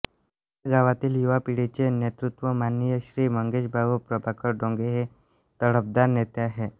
या गावातील युवापिढी चे नेतृत्व माननीय श्री मंगेश भाऊ प्रभाकर डोंगे हे तडफदार नेते आहे